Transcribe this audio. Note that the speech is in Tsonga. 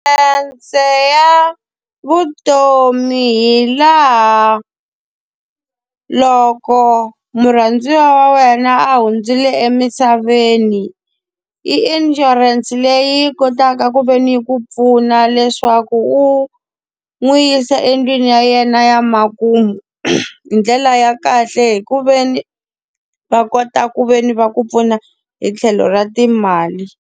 ya vutomi hi laha loko murhandziwa wa wena a hundzile emisaveni, i inshurense leyi yi kotaka a ka ku ve ni yi ku pfuna leswaku u n'wi yisa endlwini ya yena ya makumu, hi ndlela ya kahle hi ku ve ni va kota ku ve ni va ku pfuna hi tlhelo ra timali.